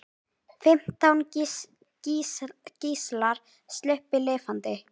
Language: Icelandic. Fimmtán gíslar sluppu lifandi.